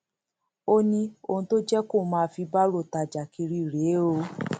ó ní ohun tó jẹ kóun máa fi báárò tajà kiri rèé o